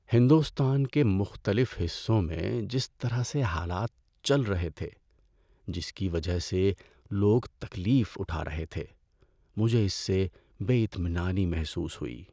ہندوستان کے مختلف حصوں میں جس طرح سے حالات چل رہے تھے جس کی وجہ سے لوگ تکلیف اٹھا رہے تھے مجھے اس سے بے اطمینانی محسوس ہوئی۔